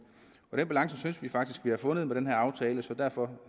den balance synes vi faktisk at man har fundet med den her aftale så derfor